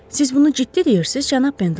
Siz bunu ciddi deyirsiz, cənab Pendelton?